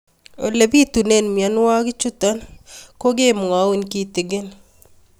Ole pitune mionwek chutok ko kimwau kitig'ín